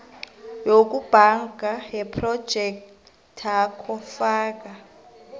yokubhanga yephrojekthakho faka